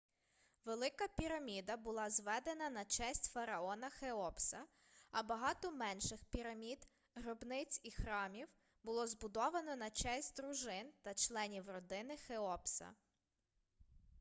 велика піраміда була зведена на честь фараона хеопса а багато менших пірамід гробниць і храмів було збудовано на честь дружин та членів родини хеопса